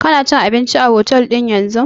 Kana cin abinci a otel ɗin yanzun?